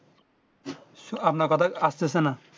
আপনার কথা আসতেছেনা